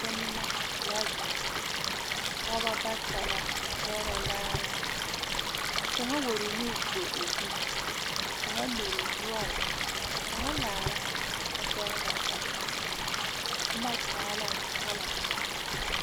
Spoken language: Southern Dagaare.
Tonmo la zeŋ pɔgeba bata la pɛgrɛ laare ka kaŋa wuo o nu tuo o zuŋ ka kaŋa mere o noɔre ka kaŋa laara kyɛ pɛgraa a boma a boma taa la colour.